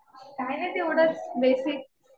काही नाही. तेवढंच बेसिक.